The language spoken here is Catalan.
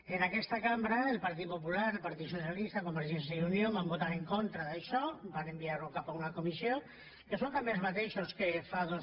en aquesta cambra el partit popular el partit socialista convergència i unió van votar en contra d’això van enviar ho cap a una comissió que són també els mateixos que fa dos